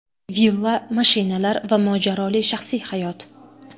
Villa, mashinalar va mojaroli shaxsiy hayot.